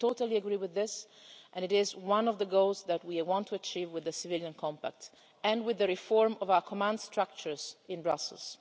I totally agree with this, and it is one of the goals that we want to achieve with the civilian compact and with the reform of our command structures in Brussels.